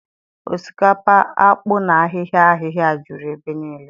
Osikapa, akpu na ahịhịa ahịhịa juru ebe niile